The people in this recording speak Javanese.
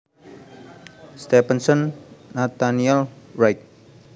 Stephenson Nathaniel Wright